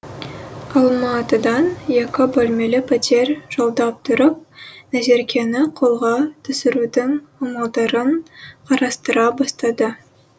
алматыдан екі бөлмелі пәтер жалдап тұрып назеркені қолға түсірудің амалдарын қарастыра бастады